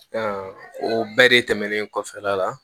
o bɛɛ de tɛmɛnen kɔfɛ a la